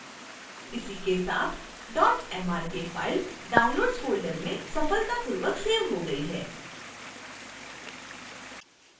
इसी के साथ mrk फाइल downloads फोल्डर में सफलतापूर्वक सेव हो गई है